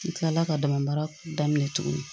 N kilala ka damabaara daminɛ tuguni